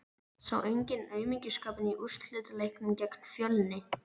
Sá enginn aumingjaskapinn í úrslitaleiknum gegn Fjölni?